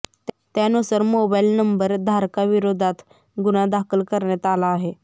त्यानुसार mobile number धारकाविरोधात गुन्हा दाखल करण्यात आला आहे